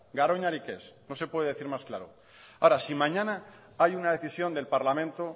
garoñarik ez no se puede decir más claro ahora si mañana hay una decisión del parlamento